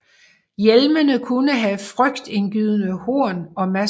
Hjelmene kunne have frygtindgydende horn og masker